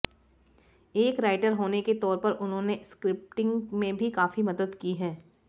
एक राइटर होने के तौर पर उन्होंने स्क्रिप्टिंग में भी काफी मदद की है